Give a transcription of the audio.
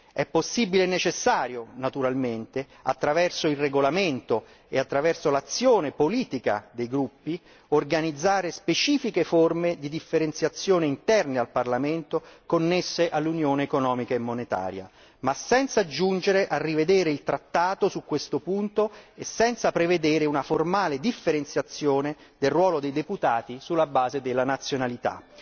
È possibile e necessario, naturalmente, attraverso il regolamento e attraverso l'azione politica dei gruppi, organizzare specifiche forme di differenziazione interne al Parlamento, connesse all'unione economica e monetaria, ma senza giungere a rivedere il trattato su questo punto e senza prevedere una formale differenziazione del ruolo dei deputati sulla base della nazionalità.